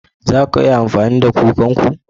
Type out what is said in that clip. Za a iya amfani da kan ku?